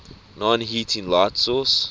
non heating light sources